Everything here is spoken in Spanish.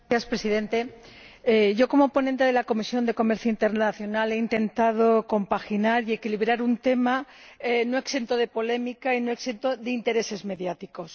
Señor Presidente, yo, como ponente de la Comisión de Comercio Internacional, he intentado compaginar y equilibrar un tema no exento de polémica y no exento de intereses mediáticos.